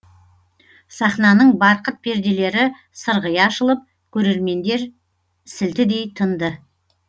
сахнаның барқыт перделері сырғи ашылып көрермендер сілтідей тынды